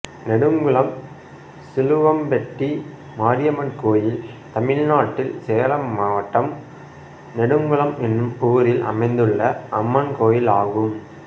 நெடுங்குளம் சிலுவம்பட்டி மாரியம்மன் கோயில் தமிழ்நாட்டில் சேலம் மாவட்டம் நெடுங்குளம் என்னும் ஊரில் அமைந்துள்ள அம்மன் கோயிலாகும்